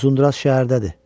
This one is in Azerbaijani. Uzunduraz şəhərdədir.